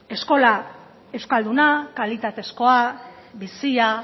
eskola euskalduna kalitatezkoa bizia